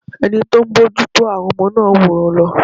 Ẹni tí ó ń bójú tó àwọn ọmọ náà wòran lọ.